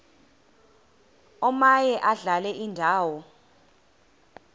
omaye adlale indawo